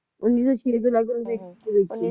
ਉੱਨੀ ਸੌ ਦੇ ਲਗਭਗ ਵਿਚ ਵਿਚ